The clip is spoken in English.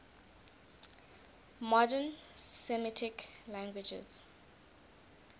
modern semitic languages